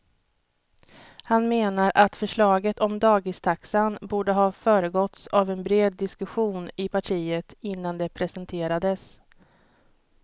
Han menar att förslaget om dagistaxan borde ha föregåtts av en bred diskussion i partiet innan det presenterades.